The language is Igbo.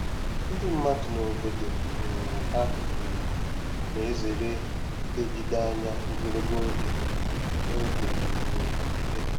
Ndị mmadụ n'obodo um ha um na-ezere ilegide anya ogologo oge n'oge um ekele.